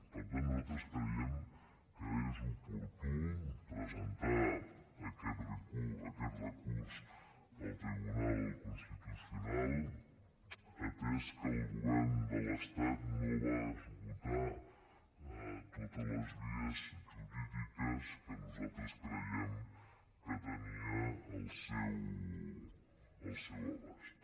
per tant nosaltres creiem que és oportú presentar aquest recurs al tribunal constitucional atès que el govern de l’estat no va esgotar totes les vies jurídiques que nosaltres creiem que tenia al seu abast